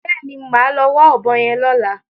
Bẹ́ẹ̀ni, màá lọ wá ọ̀bọ yẹn lọ́la.